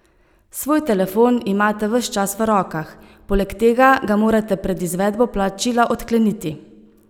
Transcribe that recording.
Svoj telefon imate ves čas v rokah, poleg tega ga morate pred izvedbo plačila odkleniti.